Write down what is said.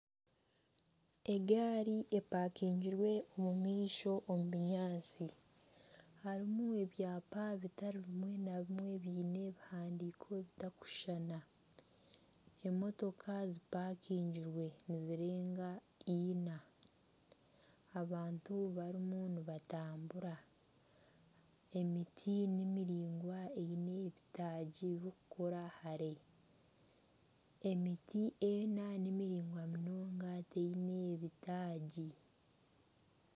Egaari empakingirwe omu maisho omu binyaatsi, harimu ebyapa bitari bimwe na bimwe byine ebihandiiko ebitarikushushana, emotoka zimpakingirwe nizirenga ina abantu barimu nibatambura, emiti ni miraingwa eine ebitaagi birikukora hare emiti ena ni miraingwa munonga taine bitaagi.